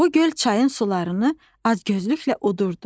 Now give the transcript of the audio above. Bu göl çayın sularını acgözlüklə udurdu.